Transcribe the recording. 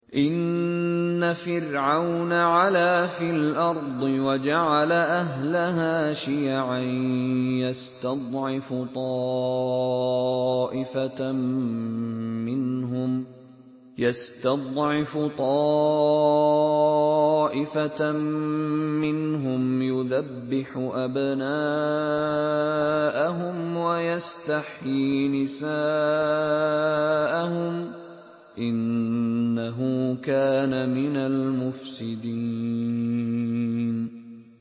إِنَّ فِرْعَوْنَ عَلَا فِي الْأَرْضِ وَجَعَلَ أَهْلَهَا شِيَعًا يَسْتَضْعِفُ طَائِفَةً مِّنْهُمْ يُذَبِّحُ أَبْنَاءَهُمْ وَيَسْتَحْيِي نِسَاءَهُمْ ۚ إِنَّهُ كَانَ مِنَ الْمُفْسِدِينَ